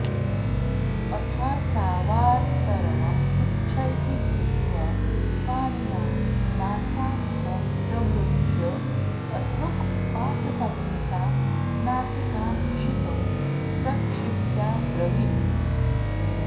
अथासावार्तरवं उच्छैः कृत्वा पाणिना नासापुटं प्रमृज्य असृक्पातसमेतां नासिकां क्षितौ प्रक्षिप्याब्रवीत्